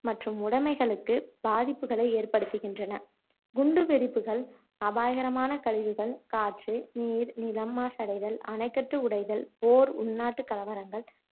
மற்றும் உடமைகளுக்கு பாதிப்புகளை ஏற்படுத்துகின்றன. குண்டு வெடிப்புகள், அபாயகரமான கழிவுகள், காற்று நீர் நிலம் மாசடைதல், அணைக்கட்டு உடைதல், போர், உள்நாட்டு கலவரங்கள்,